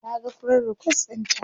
Naga friend request ɗinta